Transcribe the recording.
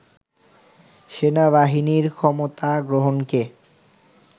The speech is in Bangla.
সেনাবাহিনীর ক্ষমতা গ্রহণকে